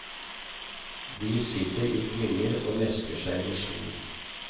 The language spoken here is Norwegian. De sitter i klynger og mesker seg med sol.